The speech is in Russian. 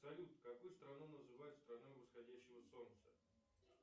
салют какую страну называют страной восходящего солнца